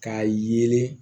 K'a yeelen